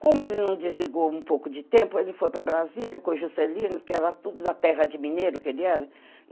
Como ele não desligou um pouco de tempo, ele foi para Brasília com Juscelino, que era tudo da terra de Mineiro que ele era.